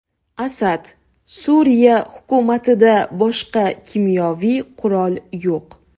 Asad: Suriya hukumatida boshqa kimyoviy qurol yo‘q.